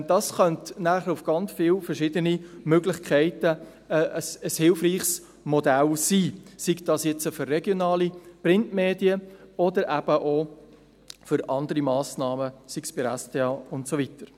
Dies könnte dann für sehr viele verschiedene Möglichkeiten ein hilfreiches Modell sein, sei es für regionale Printmedien oder für andere Massnahmen bei der SDA und so weiter.